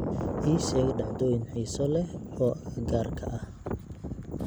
Ii sheeg dhacdooyin xiiso leh oo agagaarka ah